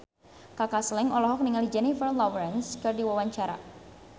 Kaka Slank olohok ningali Jennifer Lawrence keur diwawancara